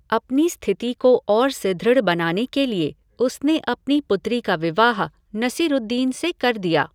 अपनी स्थिति को और सुदृढ़ बनाने के लिए उसने अपनी पुत्री का विवाह नसीरूद्दीन से कर दिया।